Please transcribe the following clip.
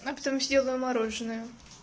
она потом съела мороженое